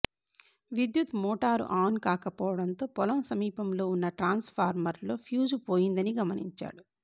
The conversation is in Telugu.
విద్యుత్ మోటారు ఆన్ కాకపోవడంతో పొలం సమీపంలో ఉన్న ట్రాన్స్ఫార్మర్లో ఫ్యూజు పోయిందని గమనించాడు